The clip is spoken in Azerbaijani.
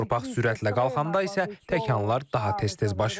Torpaq sürətlə qalxanda isə təkanlar daha tez-tez baş verir.